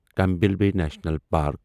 Campbell Bay National park